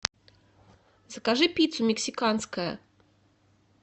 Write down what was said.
закажи пиццу мексиканская